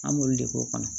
An b'olu de k'o kɔnɔ